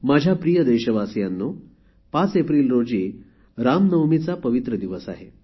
माझ्या प्रिय देशवासियांनो ५ एप्रिल रोजी रामनवमीचा पवित्र दिवस आहे